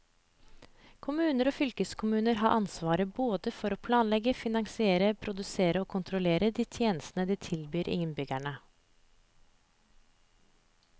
Kommuner og fylkeskommuner har ansvar både for å planlegge, finansiere, produsere og kontrollere de tjenester de tilbyr innbyggerne.